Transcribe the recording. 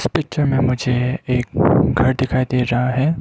इस पिक्चर में मुझे एक घर दिखाई दे रहा है।